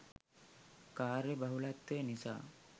කාර්යබහුලත්වය නිසා